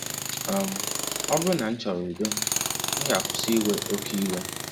um Ọ bụrụ na m chọrọ udo, m ga-akwụsị iwe oke iwe.